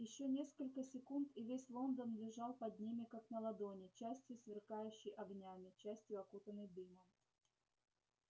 ещё несколько секунд и весь лондон лежал под ними как на ладони частью сверкающий огнями частью окутанный дымом